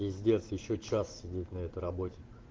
пиздец ещё час сидеть на этой работе